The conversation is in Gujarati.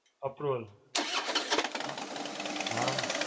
approval. અ હાં.